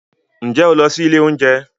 Ǹjẹ́ ó lọ sí ilé oúnjẹ